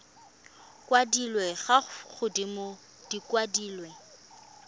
kwadilwe fa godimo di kwadilwe